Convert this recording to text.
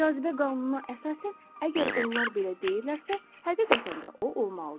Cazibə qanununa əsasən, əgər onlar belə deyirlərsə, həqiqətən də o olmalıdır.